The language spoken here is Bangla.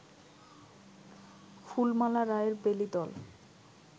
ফুলমালা রায়ের বেলী দল